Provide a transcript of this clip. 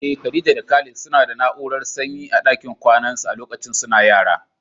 Eh, Khadija da Khalid suna da na'urar sanyi a dakin kwanan su a lokacin suna yara.